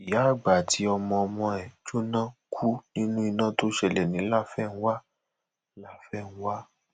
ìyá àgbà àti ọmọọmọ ẹ jóná kú nínú iná tó ṣẹlẹ ní láfẹnwá láfẹnwá